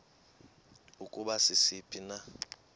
ukuba sisiphi na